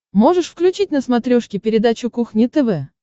можешь включить на смотрешке передачу кухня тв